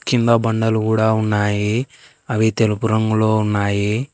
కింద బండలు కూడా ఉన్నాయి అవి తెలుపు రంగులో ఉన్నాయి.